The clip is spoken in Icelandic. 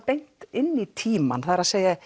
beint inn í tímann það er